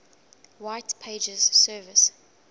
white pages services